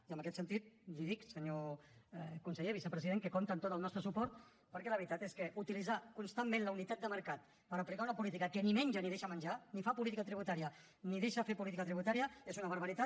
i en aquest sentit li dic senyor conseller vicepresident que compta amb tot el nostre suport perquè la veritat és que utilitzar constantment la unitat de mercat per aplicar una política que ni menja ni deixa menjar ni fa política tributària ni deixa fer política tributària és una barbaritat